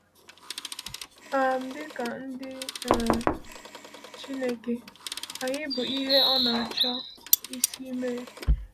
um Dịka ndị um Chineke, anyị bụ ihe ọ na-achọ isi mee.